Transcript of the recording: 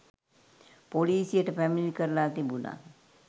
පොලිසියට පැමිණිලි කරලා තිබුණා.